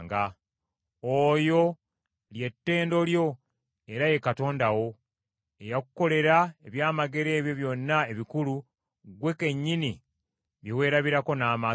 Oyo, lye ttendo lyo era ye Katonda wo, eyakukolera ebyamagero ebyo byonna ebikulu ggwe kennyini bye weerabirako n’amaaso go.